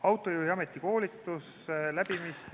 Autojuhi ametikoolituse läbimist ...